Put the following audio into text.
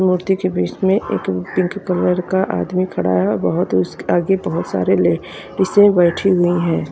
मूर्ति के बीच में एक पिंक कलर का आदमी खड़ा है और बहोत उस क आगे बहोत सारे लेडिसे बैठी हुई है।